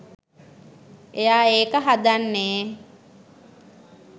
එයා ඒක හදන්නේ